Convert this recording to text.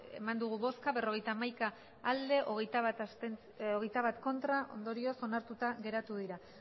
eman dugu bozka berrogeita hamaika bai hogeita bat ez ondorioz onartuta geratu dira